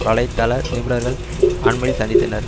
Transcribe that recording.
வலை தள நிருபர்கள் அண்மையில் சந்தித்தனர்